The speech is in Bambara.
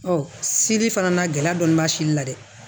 seli fana na gɛlɛya dɔɔni b'a sili la dɛ